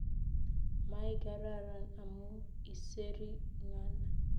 Maigararan amu iseri ngal